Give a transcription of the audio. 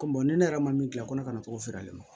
Ko ne yɛrɛ ma min dilan ko ne kana na cogo feere